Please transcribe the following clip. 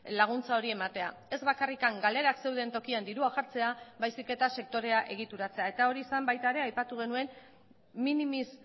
laguntza hori ematea ez bakarrik galerak zeuden tokian dirua jartzea baizik eta sektorea egituratzea eta hori zen baita ere aipatu genuen minimis